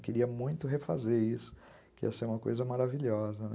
Queria muito refazer isso, que ia ser uma coisa maravilhosa, né?